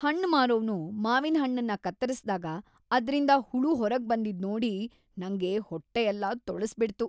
ಹಣ್ಣ್ ಮಾರೋವ್ನು ಮಾವಿನ್‌ಹಣ್ಣನ್ನ ಕತ್ತರಿಸ್ದಾಗ ಅದ್ರಿಂದ ಹುಳು ಹೊರಗ್ಬಂದಿದ್ ನೋಡಿ ನಂಗೆ ಹೊಟ್ಟೆ ಎಲ್ಲ ತೊಳಸ್ಬಿಡ್ತು.